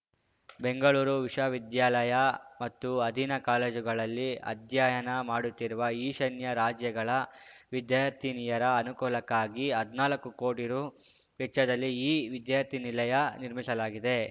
ಬೆಂಗಳೂರು ವಿಶ್ವವಿದ್ಯಾಲಯ ಮತ್ತು ಅಧೀನ ಕಾಲೇಜುಗಳಲ್ಲಿ ಅಧ್ಯಯನ ಮಾಡುತ್ತಿರುವ ಈಶಾನ್ಯ ರಾಜ್ಯಗಳ ವಿದ್ಯಾರ್ಥಿನಿಯರ ಅನುಕೂಲಕ್ಕಾಗಿ ಹದ್ನಾಲ್ಕು ಕೋಟಿ ರೂ ವೆಚ್ಚದಲ್ಲಿ ಈ ವಿದ್ಯಾರ್ಥಿನಿಲಯ ನಿರ್ಮಿಸಲಾಗಿದೆ